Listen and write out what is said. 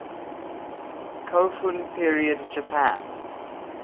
kofun period japan